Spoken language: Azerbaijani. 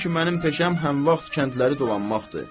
Çünki mənim peşəm həm vaxt kəndləri dolanmaqdır.